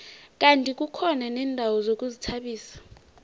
kandi kukhona neendawo zokuzithabisa